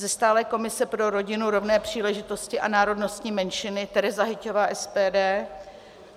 Ze stálé komise pro rodinu, rovné příležitosti a národnostní menšiny Tereza Hyťhová - SPD.